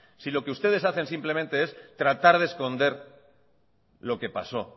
si lo que ustedes hacen simplemente es tratar de esconder lo que pasó